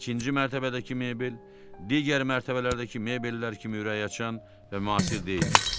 İkinci mərtəbədəki mebel digər mərtəbələrdəki mebellər kimi ürəkaçan və müasir deyildilər.